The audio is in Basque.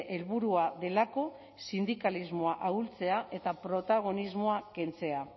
helburua delako sindikalismoa ahultzea eta protagonismoa kentzea